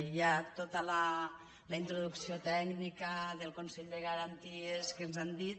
hi ha tota la introducció tècnica del consell de garanties què ens han dit